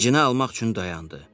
Dincini almaq üçün dayandı.